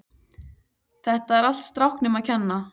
Þetta er allt strákunum að kenna.